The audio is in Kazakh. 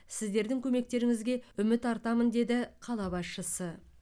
сіздердің көмектеріңізге үміт артамын деді қала басшысы